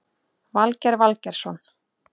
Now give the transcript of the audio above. Valgeir Valgeirsson